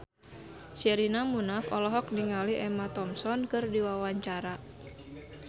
Sherina Munaf olohok ningali Emma Thompson keur diwawancara